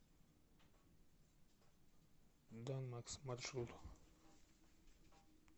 данмакс маршрут